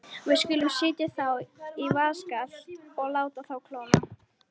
Við skulum setja þá í vaskafat og láta þá kólna.